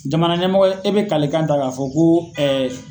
Jamana ɲɛmɔgɔ e bɛ kali kan ta k'a fɔ ko